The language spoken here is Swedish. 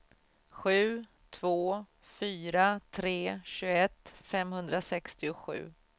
sju två fyra tre tjugoett femhundrasextiosju